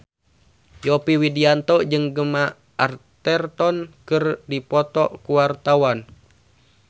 Yovie Widianto jeung Gemma Arterton keur dipoto ku wartawan